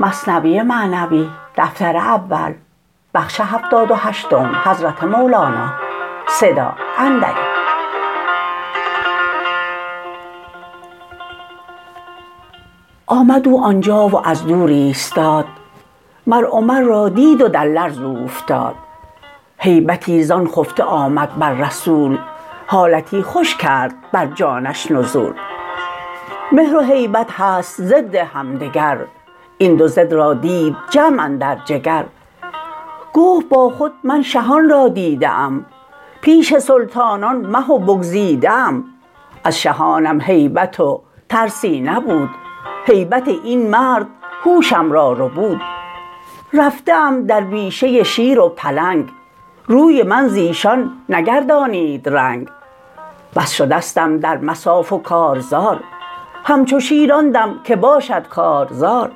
آمد او آنجا و از دور ایستاد مر عمر را دید و در لرز اوفتاد هیبتی زان خفته آمد بر رسول حالتی خوش کرد بر جانش نزول مهر و هیبت هست ضد همدگر این دو ضد را دید جمع اندر جگر گفت با خود من شهان را دیده ام پیش سلطانان مه و بگزیده ام از شهانم هیبت و ترسی نبود هیبت این مرد هوشم را ربود رفته ام در بیشه شیر و پلنگ روی من زیشان نگردانید رنگ بس شدستم در مصاف و کارزار همچو شیر آن دم که باشد کارزار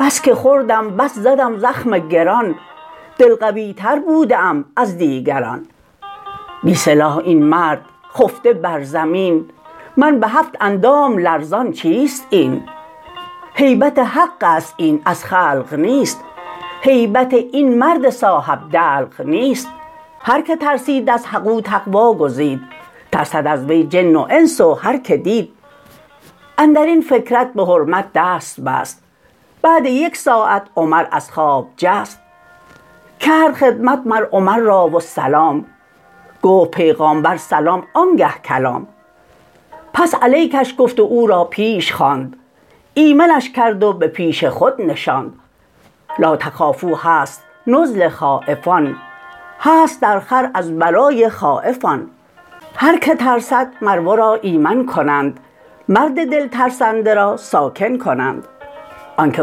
بس که خوردم بس زدم زخم گران دل قوی تر بوده ام از دیگران بی سلاح این مرد خفته بر زمین من به هفت اندام لرزان چیست این هیبت حقست این از خلق نیست هیبت این مرد صاحب دلق نیست هر که ترسید از حق او تقوی گزید ترسد از وی جن و انس و هر که دید اندرین فکرت به حرمت دست بست بعد یک ساعت عمر از خواب جست کرد خدمت مر عمر را و سلام گفت پیغامبر سلام آنگه کلام پس علیکش گفت و او را پیش خواند ایمنش کرد و به پیش خود نشاند لاتخافوا هست نزل خایفان هست در خور از برای خایف آن هر که ترسد مر ورا ایمن کنند مر دل ترسنده را ساکن کنند آنک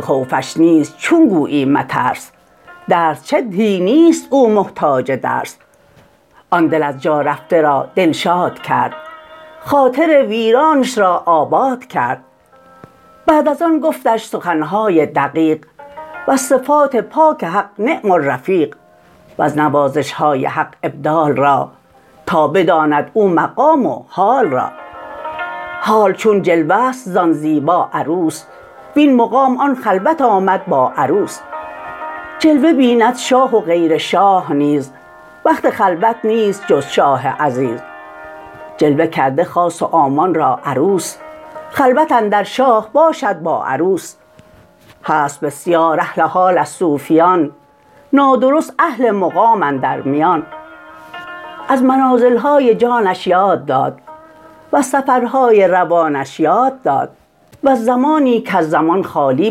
خوفش نیست چون گویی مترس درس چه دهی نیست او محتاج درس آن دل از جا رفته را دلشاد کرد خاطر ویرانش را آباد کرد بعد از آن گفتش سخنهای دقیق وز صفات پاک حق نعم الرفیق وز نوازشهای حق ابدال را تا بداند او مقام و حال را حال چون جلوه ست زان زیبا عروس وین مقام آن خلوت آمد با عروس جلوه بیند شاه و غیر شاه نیز وقت خلوت نیست جز شاه عزیز جلوه کرده خاص و عامان را عروس خلوت اندر شاه باشد با عروس هست بسیار اهل حال از صوفیان نادرست اهل مقام اندر میان از منازلهای جانش یاد داد وز سفرهای روانش یاد داد وز زمانی کز زمان خالی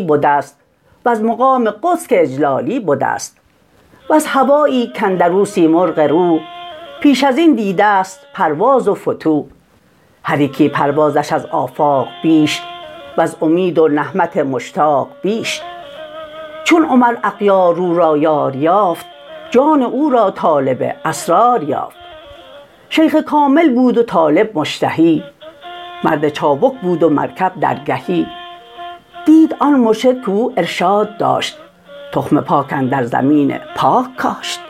بدست وز مقام قدس که اجلالی بدست وز هوایی کاندرو سیمرغ روح پیش ازین دیدست پرواز و فتوح هر یکی پروازش از آفاق بیش وز امید و نهمت مشتاق بیش چون عمر اغیاررو را یار یافت جان او را طالب اسرار یافت شیخ کامل بود و طالب مشتهی مرد چابک بود و مرکب درگهی دید آن مرشد که او ارشاد داشت تخم پاک اندر زمین پاک کاشت